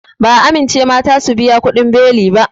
Ba'a amincewa mata su biya kuɗin beli ba